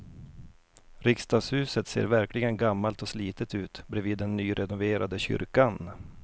Riksdagshuset ser verkligen gammalt och slitet ut bredvid den nyrenoverade kyrkan.